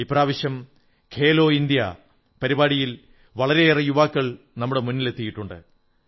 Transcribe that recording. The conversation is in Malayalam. ഇപ്രാവശ്യം ഖേലോ ഇന്ത്യാ കളിക്കൂ ഇന്ത്യാ പരിപാടിയിൽ വളരെയേറെ യുവാക്കൾ നമ്മുടെ മുന്നിലെത്തിയിട്ടുണ്ട്